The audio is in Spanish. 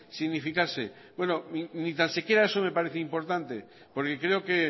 significarse bueno ni tan siquiera eso me parece importante porque creo que